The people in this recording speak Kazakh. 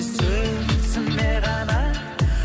сөзіме ғана